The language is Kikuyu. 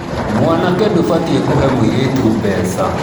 Mwanake ndubatiĩ kuhee mũirĩtu mbeca.